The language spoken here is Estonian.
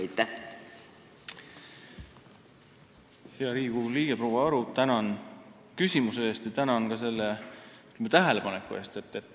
Hea Riigikogu liige proua Aru, tänan küsimuse eest ja ka selle tähelepaneku eest!